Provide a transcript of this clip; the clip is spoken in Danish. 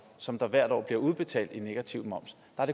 som der hvert år bliver udbetalt i negativ moms